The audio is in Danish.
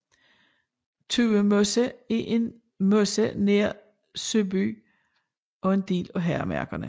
Tuemose er en en mose nær Søby og en del af Herremarkerne